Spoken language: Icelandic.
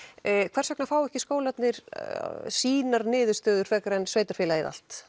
hvers vegna fá ekki skólarnir sínar niðurstöður frekar en sveitarfélagið allt